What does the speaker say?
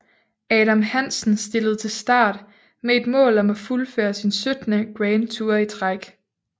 Adam Hansen stillede til start med et mål om at fuldføre sin 17 Grand Tour i træk